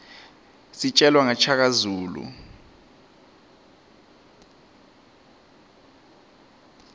sijelwa naqa shaka zulu